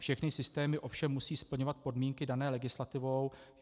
Všechny systémy ovšem musí splňovat podmínky dané legislativou.